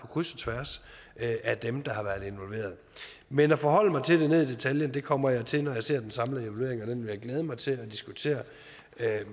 kryds og tværs af dem der har været involveret men at forholde mig til den ned i detaljen kommer jeg til når jeg ser den samlede evaluering og den vil jeg glæde mig til at diskutere